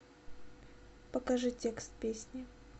покажи текст песни